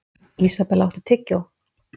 Isabella, áttu tyggjó?